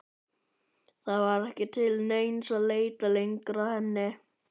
Það var ekki til neins að leita lengur að henni.